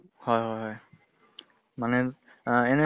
হয় হয় হয় মানে আহ এনে